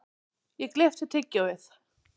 Ég gleypti tyggjóið.